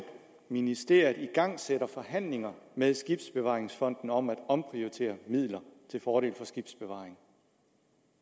ministeriet igangsætter forhandlinger med skibsbevaringsfonden om at omprioritere midler til fordel for skibsbevaring